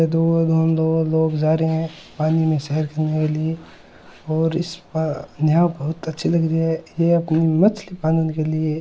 और यहाँ बहुत अच्छी लग रही है ये अपने मछली पालन के लिए --